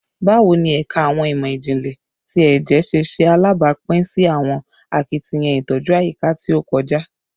Bawo ni Ẹka Awọn imọ-jinlẹ ti Ẹjẹ ṣe ṣe alabapin si awọn akitiyan itoju ayika ti o kọja?